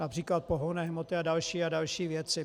například pohonné hmoty a další a další věci.